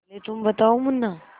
पहले तुम बताओ मुन्ना